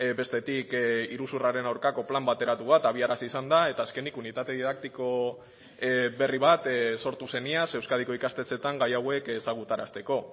bestetik iruzurraren aurkako plan bateratu bat abiarazi izan da eta azkenik unitate didaktiko berri bat sortu zen iaz euskadiko ikastetxeetan gai hauek ezagutarazteko